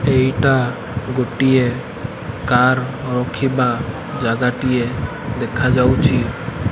ଏଇଟା ଗୋଟିଏ କାର ରଖିବା ଜାଗାଟିଏ ଦେଖାଯାଉଛି।